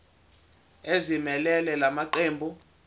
ezimelele la maqembu